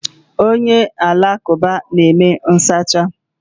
Onye alakụba na-eme nsacha.